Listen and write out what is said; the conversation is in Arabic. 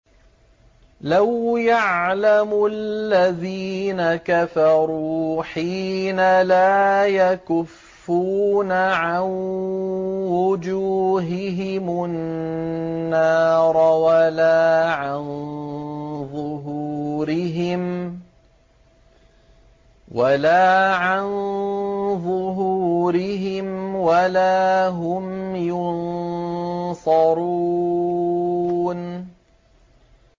لَوْ يَعْلَمُ الَّذِينَ كَفَرُوا حِينَ لَا يَكُفُّونَ عَن وُجُوهِهِمُ النَّارَ وَلَا عَن ظُهُورِهِمْ وَلَا هُمْ يُنصَرُونَ